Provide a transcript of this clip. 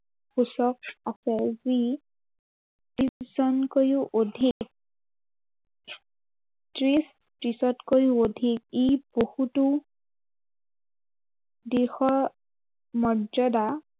পিছত আছে যি ত্ৰিশজনকৈও অধিক ত্ৰিশ, ত্ৰিশতকৈও অধিক। ই বহুতো দিশৰ মৰ্যদা